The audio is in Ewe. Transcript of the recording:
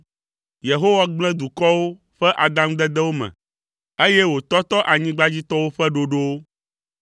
Yehowa gblẽ dukɔwo ƒe adaŋudedewo me, eye wòtɔtɔ anyigbadzitɔwo ƒe ɖoɖowo.